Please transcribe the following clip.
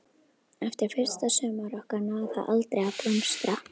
Eftir fyrsta sumarið okkar náði það aldrei að blómstra.